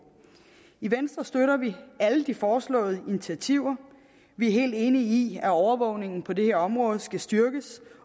i venstre støtter vi alle de foreslåede initiativer vi er helt enige i at overvågningen på det her område skal styrkes